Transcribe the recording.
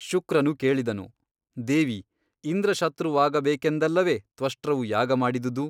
ಶುಕ್ರನು ಕೇಳಿದನು ದೇವಿ ಇಂದ್ರಶತ್ರುವಾಗಬೇಕೆಂದಲ್ಲವೆ ತ್ವಷ್ಟೃವು ಯಾಗ ಮಾಡಿದುದು?